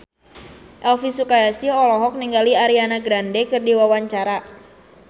Elvi Sukaesih olohok ningali Ariana Grande keur diwawancara